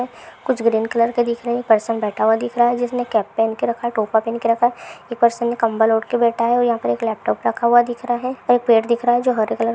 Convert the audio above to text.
कुछ green colour का दिख रहा है एक पर्सन बैठा हुआ दिख रहा है उसने कैप पहन कर रखा है टोपा पहन के रखा है एक पर्सन ने कम्बल ओढ़ कर बैठा है और यहाँ पे लैपटॉप रखा हुआ दिख रहा है और एक पेड़ दिख रहा है जो हरे--